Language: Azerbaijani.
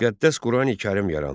Müqəddəs Qurani-Kərim yarandı.